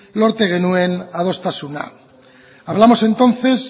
lortu genuen adostasuna hablamos entonces